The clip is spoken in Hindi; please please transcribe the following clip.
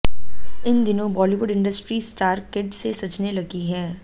इन दिनों बॉलीवुड इंडस्ट्री स्टार किड से सजने लगी है